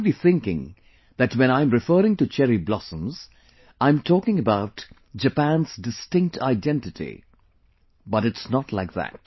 You might be thinking that when I am referring to Cherry Blossoms I am talking about Japan's distinct identity but it's not like that